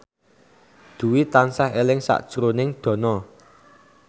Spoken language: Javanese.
Dwi tansah eling sakjroning Dono